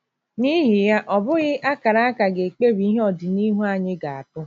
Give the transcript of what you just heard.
N’ihi ya, ọ bụghị akara aka ga-ekpebi ihe ọdịnihu anyị ga - abụ.